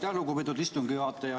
Aitäh, lugupeetud istungi juhataja!